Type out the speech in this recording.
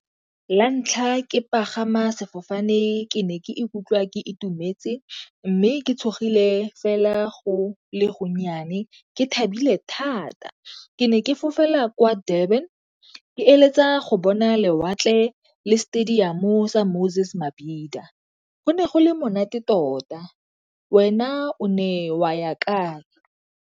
La ntlha ke pagama sefofane ke ne ke ikutlwa ke itumetse mme ke tshogile fela go le go nnyane ke thabile thata. Ke ne ke fofela kwa Durban ke eletsa go bona lewatle le stadium-o sa Moses Mabhida, go ne go le monate tota. Wena o ne wa ya kae?